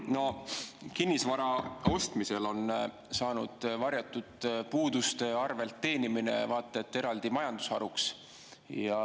No kinnisvara ostmisel on saanud varjatud puuduste arvelt teenimine vaat et eraldi majandusharuks.